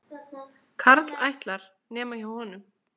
Karl ætlar, nema hjá honum.